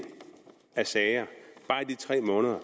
af sager bare i de tre måneder